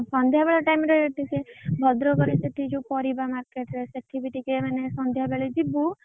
ସନ୍ଧ୍ୟାବେଳ time ରେ ଟିକେ ଭଦ୍ରକ ରେ ସେଠି ଯଉ ପରିବା market ରେ ସେଠି ବି ଟିକେ ମାନେ ସନ୍ଧ୍ୟାବେଳେ ଯିବୁ